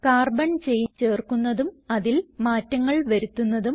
carbon chain ചേർക്കുന്നതും അതിൽ മാറ്റങ്ങൾ വരുത്തുന്നതും